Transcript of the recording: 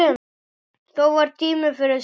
Þó var tími fyrir súpu.